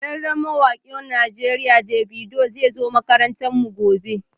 Shahararren mawakin Najeriya Davido zai zo makarantarmu gobe,